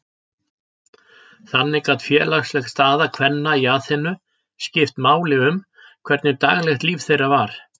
Þannig gat félagsleg staða kvenna í Aþenu skipt máli um hvernig daglegt líf þeirra var.